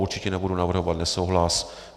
Určitě nebudu navrhovat nesouhlas.